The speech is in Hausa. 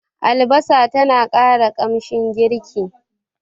Albasa tana ƙara kamshin girki.